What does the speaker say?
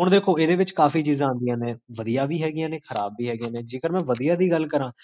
ਹੁਣ ਦੇਖੋ, ਏਦੇ ਵਿੱਚ ਕਾਫੀ ਚੀਜ਼ਾਂ ਆਂਦਿਆ ਨੇ, ਬਦੀਆ ਵੀ ਹੈਗੀਆਂ ਨੇ, ਖਰਾਬ ਵੀ ਹੈਗੀਆਂ ਨੇ